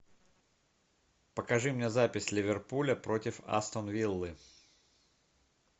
покажи мне запись ливерпуля против астон виллы